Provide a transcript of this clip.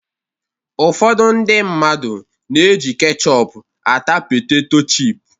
Ụfọdụ ndị mmadụ na-eji ketchọp ata peteto chịp